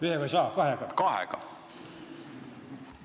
Ühega ei saa, ütlen kahega.